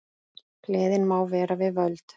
Gleðin má vera við völd.